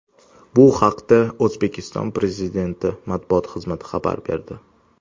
Bu haqda O‘zbekiston Prezidenti matbuot xizmati xabar berdi .